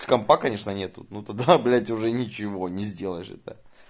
с компа конечно нет ну тогда блять уже ничего не сделаешь это